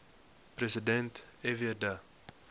president fw de